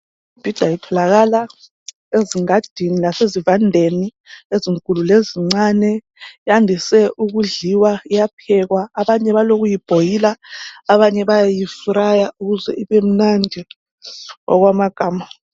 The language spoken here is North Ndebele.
Imibhida itholakala ezingadini lasezivandeni ezikhulu lezincane. Yandise ukudliwa, iyaphekwa. Abanye balokuyibhoyila abanye bayayifraya ukuze ibemnandi Okwama gama.